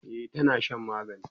e tana Shan magani